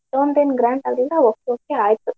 ಅಷ್ಟೊಂದ್ ಏನ್ grand ಆಗಿಲ್ಲಾ okay okay ಆಯ್ತ್.